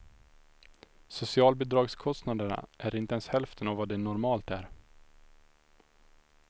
Socialbidragskostnaderna är inte ens hälften av vad de normalt är.